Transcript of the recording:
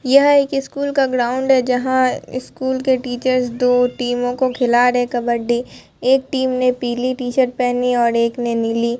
यह एक स्कूल का ग्राउंड है जहां स्कूल के टीचर्स दो टीमों को खिला रहे है कबड्डी एक टीम ने पीली टी शर्ट पहनी है और एक ने नीली।